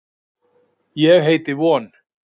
Ég heiti von.